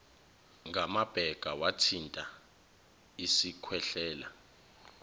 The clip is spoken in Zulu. ngamabheka wathinta isikhwehlela